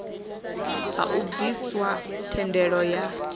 ha u bviswa thendelo ya